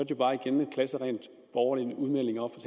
jo bare igen en klasseren overlegen udmelding oppe